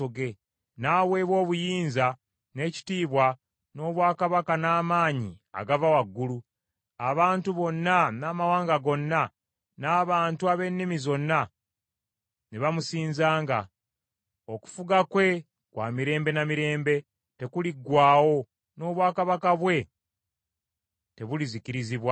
N’aweebwa obuyinza, n’ekitiibwa, n’obwakabaka n’amaanyi agava waggulu; abantu bonna, n’amawanga gonna, n’abantu ab’ennimi zonna ne bamusinzanga. Okufuga kwe kwa mirembe na mirembe, tekuliggwaawo, n’obwakabaka bwe tebulizikirizibwa.